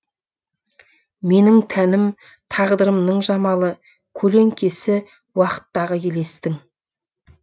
менің тәнім тағдырымның жамалы көлеңкесі уақыттағы елестің